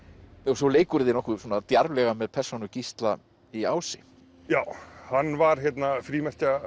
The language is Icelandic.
svo leikurðu þér nokkuð djarflega með persónu Gísla í Ási já hann var hérna